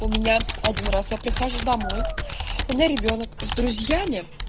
у меня один раз я прихожу домой у меня ребёнок с друзьями